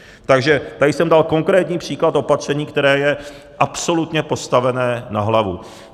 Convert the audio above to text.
Takže tady jsem dal konkrétní příklad opatření, které je absolutně postavené na hlavu.